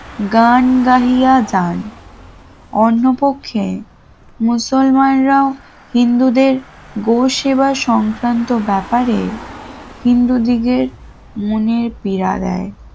গান গাইয়া গান অন্য পক্ষে মুসলমানরাও হিন্দুদের গোস সেবা সংক্রান্ত ব্যাপারে হিন্দুদের মনের পীড়া দেয়